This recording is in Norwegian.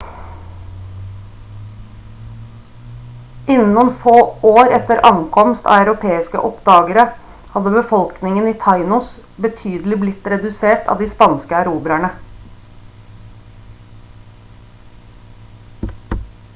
innen noen få år etter ankomst av europeiske oppdagere hadde befolkningen i tainos betydelig blitt redusert av de spanske erobrerne